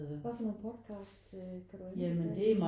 Hvad for nogle podcasts øh kan du lide at høre?